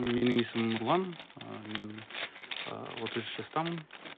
менің есімім нұрлан ы мен ыыы отыз үш жастамын